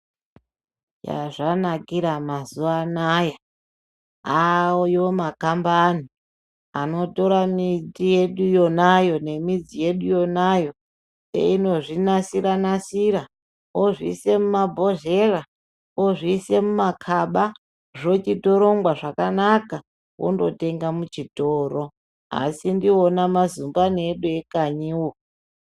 Yazvanakira mazuwaanaya, ayo makambani anotora miti yedu yonayo nemidzi yedu yonayo, eyinozvinasira-nasira ozviyisa mumabhodhleya, ozviyisa mumakaba, zvochitorongwa zvakanaka ondotenga muchitoro, asi ndiwona mazumbani edu ekanyiwo.